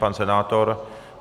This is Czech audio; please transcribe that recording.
Pan senátor?